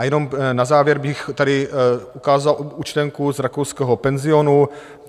A jenom na závěr bych tady ukázal účtenku z rakouského penzionu.